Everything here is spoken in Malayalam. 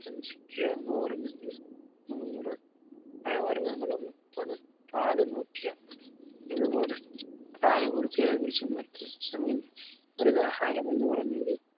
ഇരുനൂറ് നൂറ് പഴവർഗങ്ങൾ മുപ്പത് പാല് നൂറ്റിയന്പത്. ഇതുപോലെ പ്രായപൂർത്തിയായ പുരുഷന്മാർക്ക് സമീകൃതാഹാരം എന്ന് പറഞ്ഞത്